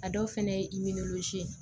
A dɔw fɛnɛ ye ye